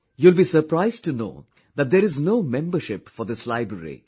You will be surprised to know that there is no membership for this library